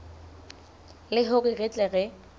le hore re tle re